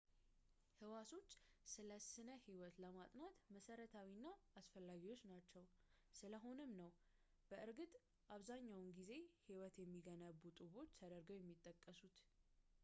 ህዋሶች ስለ ስነህይወት ለማጥናት መሰረታዊና አስፈላጊ ናቸው፣ ስለሆነም ነው፣ በእርግጥ፣ አብዛኛውን ጊዜ ህይወትን የሚገነቡ ጡቦች ተደርገው የሚጠቀሱት